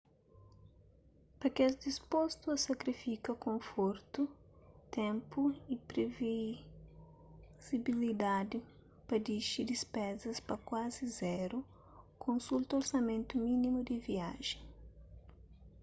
pa kes dispostu a sakrifika konfortu ténpu y privizibilidadi pa dixi dispezas pa kuazi zeru konsulta orsamentu minimu di viajen